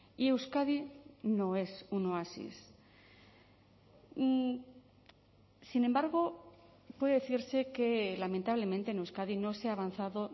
y euskadi no es un oasis sin embargo puede decirse que lamentablemente en euskadi no se ha avanzado